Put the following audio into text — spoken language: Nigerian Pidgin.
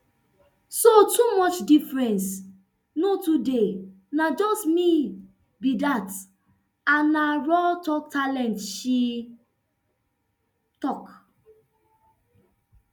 so too much difference no too dey na just me be dat and na raw talent she tok